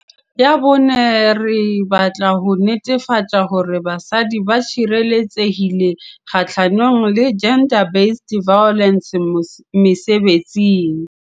Ya bone, re batla ho netefatsa hore basadi ba tshireletsehile kgahlano le GBV mesebetsing.